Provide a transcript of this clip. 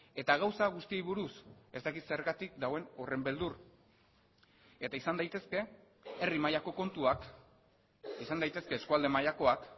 eta gauza guztiei buruz ez dakit zergatik dagoen horren beldur eta izan daitezke herri mailako kontuak izan daitezke eskualde mailakoak